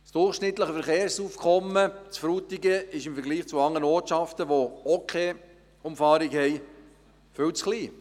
Das durchschnittliche Verkehrsaufkommen in Frutigen ist im Vergleich zu anderen Ortschaften, die auch keine Umfahrungsstrasse haben, viel zu klein.